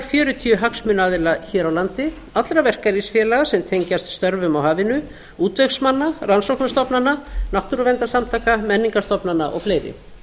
fjörutíu hagsmunaaðila hér á landi allra verkalýðsfélaga sem tengjast störfum á hafinu útvegsmanna rannsóknastofnana náttúruverndarsamtaka menningarstofnana og fleiri